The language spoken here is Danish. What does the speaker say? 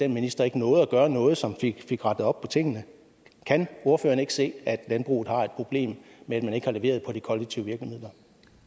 minister ikke nåede at gøre noget som fik fik rettet op på tingene kan ordføreren ikke se at landbruget har et problem med at man ikke har leveret på de kollektive virkemidler